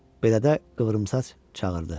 Belədə qıvrımsaç çağırdı.